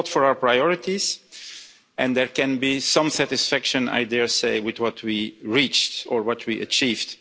We fought for our priorities and there can be some satisfaction with what we reached or what we achieved.